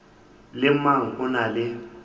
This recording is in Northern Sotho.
le mang o na le